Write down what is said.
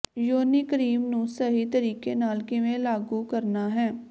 ਯੋਨੀ ਕ੍ਰੀਮ ਨੂੰ ਸਹੀ ਤਰੀਕੇ ਨਾਲ ਕਿਵੇਂ ਲਾਗੂ ਕਰਨਾ ਹੈ